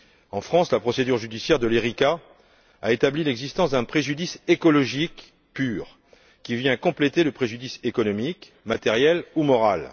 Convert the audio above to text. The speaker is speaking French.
En France, la procédure judiciaire de l'Erika a établi l'existence d'un préjudice écologique pur, qui vient compléter le préjudice économique, matériel ou moral.